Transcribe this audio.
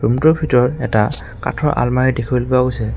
ৰোমটোৰ ভিতৰত এটা কাঠৰ আলমাৰী দেখিবলৈ পোৱা গৈছে।